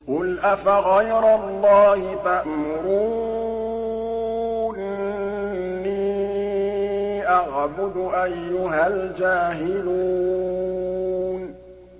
قُلْ أَفَغَيْرَ اللَّهِ تَأْمُرُونِّي أَعْبُدُ أَيُّهَا الْجَاهِلُونَ